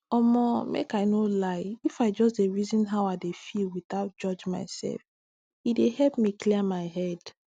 omo make i no lie if i just dey reason how i dey feel without judge myself e dey help me clear my head